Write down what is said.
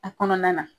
A kɔnɔna na